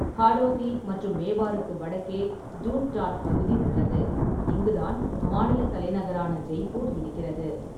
ஹாடோதி மற்றும் மேவாருக்கு வடக்கே டூன்டாட் பகுதி உள்ளது, இங்கு தான் மாநிலத் தலைநகரான ஜெய்பூர் இருக்கிறது.